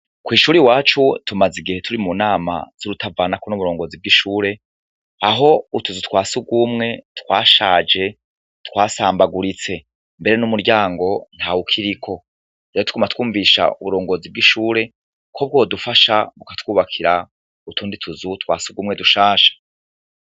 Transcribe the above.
Ko'ishure wacu tumaze igihe turi mu nama z'urutavanako n'uburongozi bw'ishure aho utuzu twasi ugwumwe twashaje twasambaguritse mbere n'umuryango nta wukiriko era tkuma twumvisha uburongozi bw'ishure ko bwodufasha bukatwubakira utundi tuzu twasi ugwumwe dushasha.